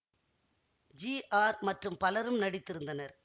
G R மற்றும் பலரும் நடித்திருந்தனர்